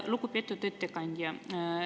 Lugupeetud ettekandja!